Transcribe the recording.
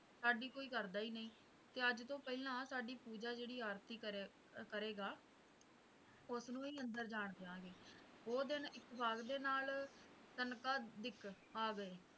ਸਾਡੀ ਕੋਈ ਕਰਦਾ ਹੀ ਨਹੀਂ ਤੇ ਅੱਜ ਤੋਂ ਪਹਿਲਾਂ ਸਾਡੀ ਪੂਜਾ ਜਿਹੜਾ ਆਰਤੀ ਕਰੀਏ ਕਰੇਗਾ ਉਸਨੂੰ ਹੀ ਅੰਦਰ ਜਾਂ ਦਿਆਂਗੇ ਉਹ ਦਿੰਨ ਇੱਤੇਫ਼ੈਕ ਦੇ ਨਾਲ ਤਿੰਨ ਘਰ ਧਿਕ ਆ ਗਏ